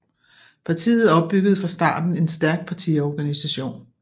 Partiet opbyggede fra starten en stærk partiorganisation